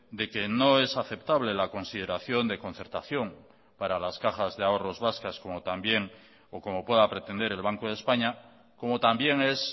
de que no es aceptable la consideración de concertación para las cajas de ahorros vascas como también o como pueda pretender el banco de españa como también es